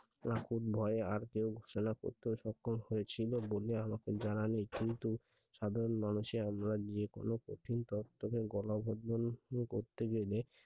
এ ভয়ে আর কেউ চলা করতে সক্ষম হয়েছিল বলে আমার জানা নেই কিন্তু সাধারণ মানুষে আমরা গিয়ে কোনো কঠিন কাজ করতে গেলে